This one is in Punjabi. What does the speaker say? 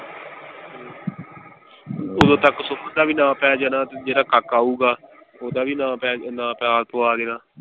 ਓਦੋ ਤਕ ਸੁਮਨ ਦਾ ਵੀ ਨਾ ਪੈ ਜਾਣਾ ਤੇ ਜਿਹੜਾ ਕਾਕਾ ਹੋਊਗਾ ਓਹਦਾ ਵੀ ਨਾ ਨਾਮ ਪਵਾ ਦੇਣਾ।